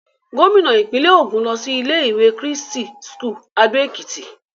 Gómìnà ìpínlẹ̀ Ògùn lọ sí ilé-ìwé Christ's School Ado Ekiti.